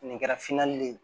Nin kɛra finani ye